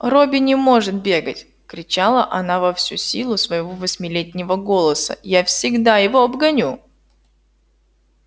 робби не может бегать кричала она во всю силу своего восьмилетнего голоса я всегда его обгоню